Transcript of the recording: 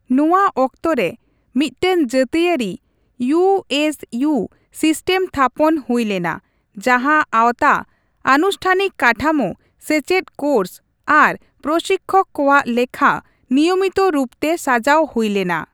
ᱱᱚᱣᱟ ᱚᱠᱛᱚ ᱨᱮ, ᱢᱤᱫᱴᱟᱝ ᱡᱟᱹᱛᱤᱭᱟᱹᱨᱤ ᱤᱣᱹᱮᱥᱹᱤᱣ ᱥᱤᱥᱴᱮᱢ ᱛᱷᱟᱯᱚᱱ ᱦᱩᱭ ᱞᱮᱱᱟ ᱡᱟᱸᱦᱟ ᱟᱶᱛᱟ ᱟᱱᱩᱥᱴᱷᱟᱱᱤᱠ ᱠᱟᱴᱷᱟᱢᱳ, ᱥᱮᱪᱮᱫ ᱠᱳᱨᱥ ᱟᱨ ᱯᱨᱚᱥᱤᱠᱠᱷᱚᱠ ᱠᱚᱣᱟᱜ ᱞᱮᱠᱷᱟ ᱱᱤᱭᱚᱢᱤᱛᱚ ᱨᱩᱯᱛᱮ ᱥᱟᱡᱟᱣ ᱦᱩᱭ ᱞᱮᱱᱟ ᱾